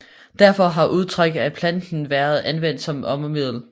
Derfor har udtræk af planten været anvendt som ormemiddel